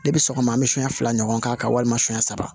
Ne bɛ sɔgɔma an bɛ sonɲɛ fila ɲɔgɔn k'a kan walima siɲɛ saba